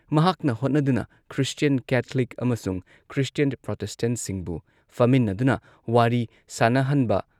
ꯃꯍꯥꯛꯅ ꯍꯣꯠꯅꯗꯨꯅ Christian Catholic ꯑꯃꯁꯨꯡ ꯈ꯭ꯔꯤꯁꯇꯤꯌꯟ ꯄ꯭ꯔꯣꯇꯦꯁꯇꯦꯟꯠꯁꯤꯡꯕꯨ ꯐꯝꯃꯤꯟꯅꯗꯨꯅ ꯋꯥꯔꯤ ꯁꯥꯟꯅꯍꯟꯕ